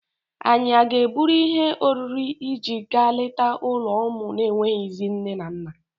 Ànyị a ga-eburu ihe oriri iji gaa leta ụlọ ụmụ na-enweghịzị nne na nna?